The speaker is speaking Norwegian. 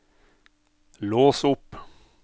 lås opp